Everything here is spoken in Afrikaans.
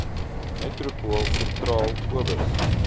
metropool sentraal obos